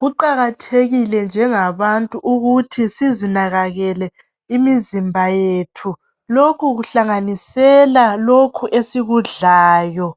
Kuqakathekile njengabantu kuthi sizinakakele imizimba yethu. Lokhu kuhlanganisela lokho esikudlayo